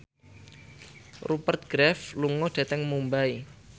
Rupert Graves lunga dhateng Mumbai